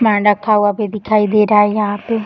सामान रखा हुआ भी दिखाई दे रहा है यहाँ पे।